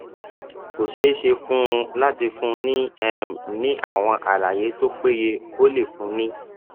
kò ṣeé ṣe fún un láti fúnni um ní àwọn àlàyé tó péye ó lè fúnni ní